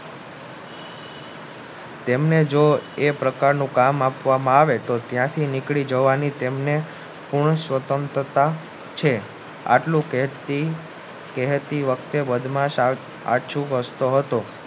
તેમને જો એ પ્રકારનું કામ આપવામાં આવે ત્યાંથી નીકળી જવાની પૂર્ણ સ્વતંત્રતા છે આટલું કહેતી વખતે